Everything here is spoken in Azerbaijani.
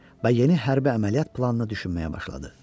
Və yeni hərbi əməliyyat planını düşünməyə başladı.